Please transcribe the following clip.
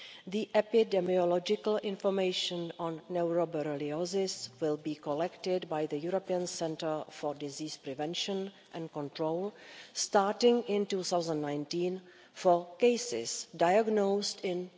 The epidemiological information on neuroborreliosis will be collected by the European Centre for Disease Prevention and Control, starting in 2019 for cases diagnosed in